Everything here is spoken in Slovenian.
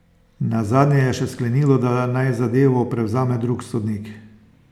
Nazadnje je še sklenilo, da naj zadevo prevzame drug sodnik.